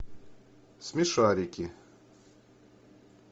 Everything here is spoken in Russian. смешарики